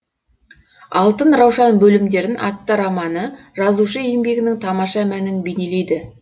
алтын раушан бөлімдерін атты романы жазушы еңбегінің тамаша мәнін бейнелейді